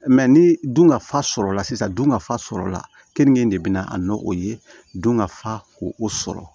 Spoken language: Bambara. ni dunkafa sɔrɔla sisan dun ka fa sɔrɔla kenike de bɛna a nɔ o ye dun ka fa ko o sɔrɔ